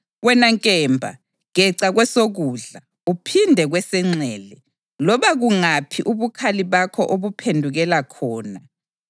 Wena nkemba, geca kwesokudla, uphinde kwesenxele, loba kungaphi ubukhali bakho obuphendukela khona.